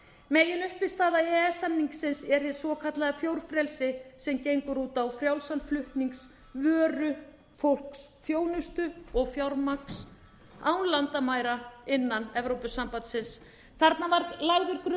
meginuppistaða e e s samningsins er hið svokallaða fjórfrelsi sem gengur út á frjálsan flutning vöru fólks þjónustu og fjármagns án landamæra innan evrópusambandsins þarna var lagður grunnur að